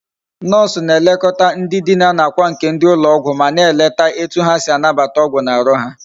Nurse na elekota ndi Dina na akwa nke ndi ulo ogwu ma na eleta etu ha si anabata ogwu na Aru ha